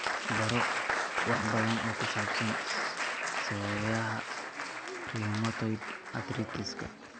Baro wax badan oo ku saabsan sababaha rheumatoid arthritis-ka.